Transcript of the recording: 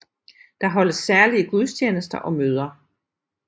Der holdes særlige gudstjenester og møder